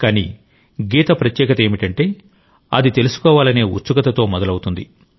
కానీ గీత ప్రత్యేకత ఏమిటంటే అది తెలుసుకోవాలనే ఉత్సుకతతో మొదలవుతుంది